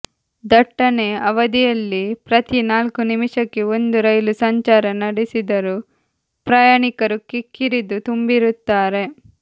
ದಟ್ಟಣೆ ಅವಧಿಯಲ್ಲಿ ಪ್ರತಿ ನಾಲ್ಕು ನಿಮಿಷಕ್ಕೆ ಒಂದು ರೈಲು ಸಂಚಾರ ನಡೆಸಿದರೂ ಪ್ರಯಾಣಿಕರು ಕಿಕ್ಕಿರಿದು ತುಂಬಿರುತ್ತಾರೆ